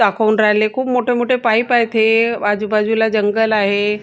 दाखवून राहिले खूप मोठे मोठे पाईप आहेत हे आजूबाजूला जंगल आहे.